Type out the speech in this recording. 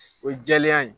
O ye jɛlenya ye